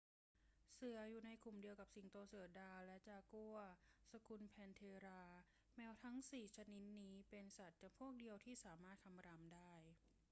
เสืออยู่ในกลุ่มเดียวกันกับสิงโต เสือดาว และจากัวร์ สกุลแพนเธรา แมวทั้งสี่ชนิดนี้เป็นสัตว์จำพวกเดียวที่สามารถคำรามได้